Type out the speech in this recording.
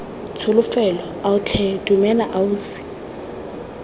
tsholofelo ao tlhe dumela ausi